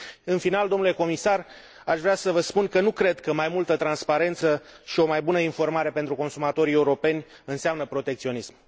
În final, domnule comisar, aș vrea să vă spun că nu cred că mai multă transparență și o mai bună informare pentru consumatorii europeni înseamnă protecționism.